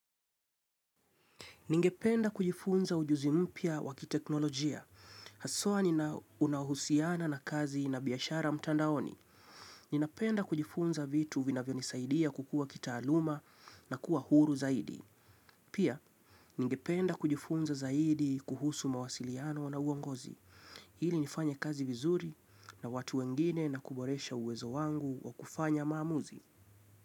Ningependa kujifunza ujuzi mpya wakiteknolojia. Haswaa unaohusiana na kazi na biashara mtandaoni. Ninapenda kujifunza vitu vinavyo nisaidia kukua kitaaluma na kuwa huru zaidi. Pia, ningependa kujifunza zaidi kuhusu mawasiliano na uongozi. Hili nifanye kazi vizuri na watu wengine na kuboresha uwezo wangu wa kufanya maamuzi.